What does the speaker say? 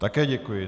Také děkuji.